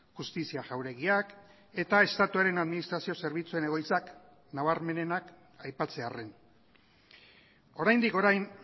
justizia jauregiak eta estatuaren administrazio zerbitzuen egoitzak nabarmenenak aipatzearren oraindik orain